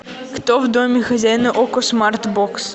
кто в доме хозяин окко смарт бокс